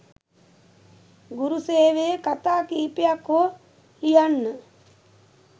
ගුරු සේවයේ කතා කීපයක් හෝ ලියන්න.